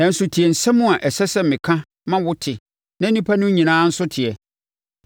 Nanso, tie asɛm a ɛsɛ sɛ meka ma wote na nnipa no nyinaa nso teɛ: